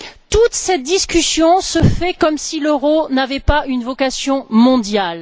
Toute cette discussion se fait comme si l'euro n'avait pas une vocation mondiale.